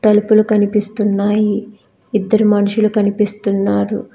తలుపులు కనిపిస్తున్నాయి ఇద్దరు మనుషులు కనిపిస్తున్నారు.